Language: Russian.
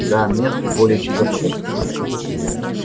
да мест более чем достаточно